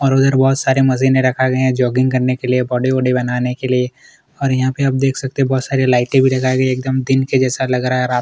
और उधर बोहोत सारी मशीनें रखी गई है जॉगिंग करने के लिए बॉडी - वाडी बनाने के लिए और यहाँ पर आप देख सकते है बोहोत सारी लाइटें भी लगाई गई है एकदम दिन के जैसा लग रहा है रात --